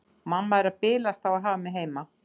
Mamma er að bilast á að hafa mig heima.